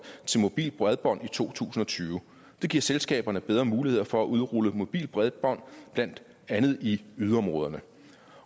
til mobilt bredbånd i to tusind og tyve det giver selskaberne bedre muligheder for at udrulle mobilt bredbånd blandt andet i yderområderne